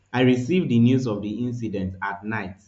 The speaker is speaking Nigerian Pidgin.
i receive di news of di incident at night